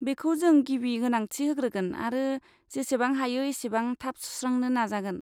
बेखौ जों गिबि गोनांथि होग्रोगोन आरो जेसेबां हायो एसेबां थाब सुस्रांनो नाजागोन।